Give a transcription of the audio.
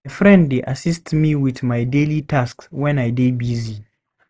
My friend dey assist me with my daily tasks when I dey busy.